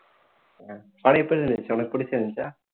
அஹ் படம் எப்படி இருந்துச்சு உனக்கு பிடிச்சு இருந்துச்சா